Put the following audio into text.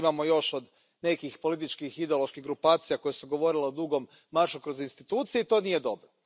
To imamo još od nekih političkih, ideoloških grupacija koje su govorile o dugom maršu kroz institucije i to nije dobro.